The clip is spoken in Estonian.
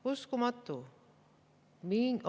Uskumatu!